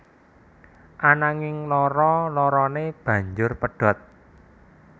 Ananging loro lorone banjur pedhot